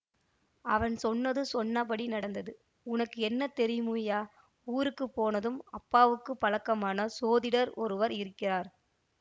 அவன் சொன்னது சொன்னபடி நடந்தது உனக்கு என்ன தெரியுமய்யா ஊருக்கு போனதும் அப்பாவுக்குப் பழக்கமான சோதிடர் ஒருவர் இருக்கிறார்